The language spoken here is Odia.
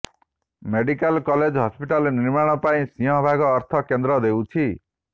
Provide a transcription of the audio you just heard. ମେଡିକାଲ କଲେଜ ହସ୍ପିଟାଲ ନିର୍ମାଣ ପାଇଁ ସିଂହଭାଗ ଅର୍ଥ କେନ୍ଦ୍ର ଦେଉଛି